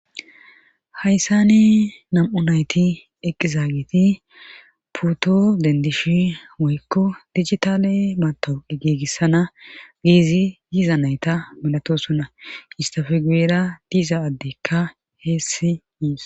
hayssane nam7u nayti eqizaageti poto dendishe woykko dijitale mataawaqa gigissana giizi yiiza nayta milatoosinna istafe guyera diiza addeykka heessi yishe dees